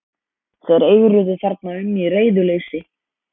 Þeir eigruðu þarna um í reiðuleysi.